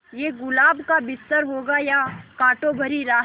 ये गुलाब का बिस्तर होगा या कांटों भरी राह